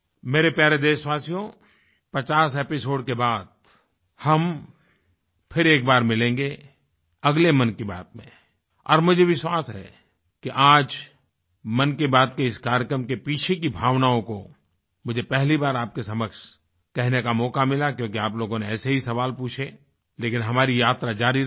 मेरे प्यारे देशवासियो 50 एपिसोड के बाद हम फिर एक बार मिलेंगे अगले मन की बात में और मुझे विश्वास है कि आज मन की बात के इस कार्यक्रम के पीछे की भावनाओं को मुझे पहली बार आपके समक्ष कहने का मौका मिला क्योंकि आप लोगों ने ऐसे ही सवाल पूछे लेकिन हमारी यात्रा जारी रहेगी